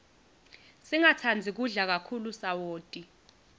singatsandzi kudla kakhulu sawoti